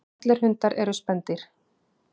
Allir hundar eru spendýr.